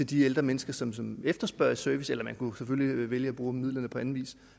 de ældre mennesker som som efterspørger en service eller man kunne selvfølgelig vælge at bruge midlerne på anden vis